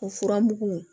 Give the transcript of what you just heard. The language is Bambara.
O furamugu